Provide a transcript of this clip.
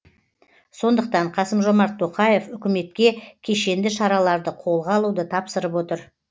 сондықтан қасым жомарт тоқаев үкіметке кешенді шараларды қолға алуды тапсырып отыр